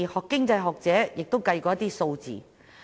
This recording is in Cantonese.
經濟學者也曾進行計算。